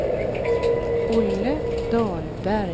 Olle Dahlberg